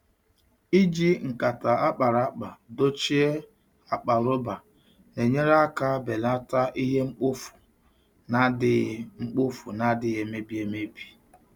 Iji nkata a kpara akpa dochie akpa rọba na-enyere aka belata ihe mkpofu na-adịghị mkpofu na-adịghị emebi emebi.